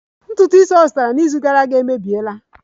Ntutu isi ọ zụtara n'izu gara aga emebiela